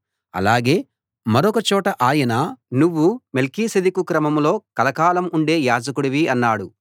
అలాగే మరొక చోట ఆయన నువ్వు మెల్కీసెదెకు క్రమంలో కలకాలం ఉండే యాజకుడివి అన్నాడు